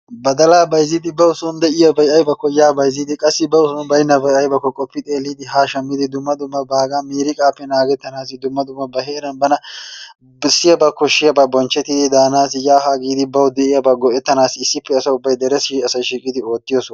Badalaa bayzzidi bawu soon de'iyaabay aybakko yaa bayzzidi qassi bawu soon aybbakko baynabaa haa shammidi dumma dumma baagaa miriiqaappe nagettanaassi dumma dumma ba heeraan bana bessiyaaba koshshiyaabaa bonchchettidi daanaasi yaa haa giidi bawu de'iyaabaa go'tananaassi asa ubbay deressi shiiqqidi oottiyosa.